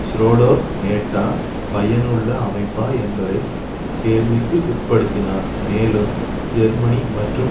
ஷ்ரோடோர் NATO பயனுள்ள அமைப்பா என்பதை கேள்விக்கு உட்படுத்தினார் மேலும் ஜெர்மனி மற்றும்